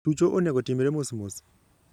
tucho onego otimre mosmos.